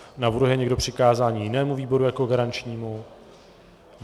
Navrhuje někdo přikázání jinému výboru jako garančnímu?